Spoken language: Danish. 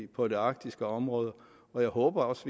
på det arktiske område og jeg håber også